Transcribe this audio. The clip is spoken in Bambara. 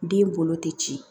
Den bolo tɛ ci